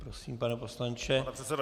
Prosím, pane poslanče, máte slovo.